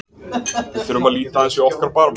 Við þurfum að líta aðeins í okkar barm.